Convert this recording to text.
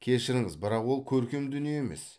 кешіріңіз бірақ ол көркем дүние емес